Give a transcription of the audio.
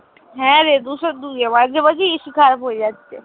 হ্যাঁ রে দুশো দুই এ মাঝে মাঝেই AC খারাপ হয়ে যাচ্ছে।